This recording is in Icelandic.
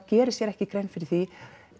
gerir sér ekki grein fyrir því